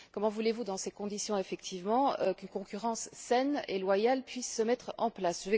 Comment voulez vous, dans ces conditions effectivement, qu'une concurrence saine et loyale puisse se mettre en place?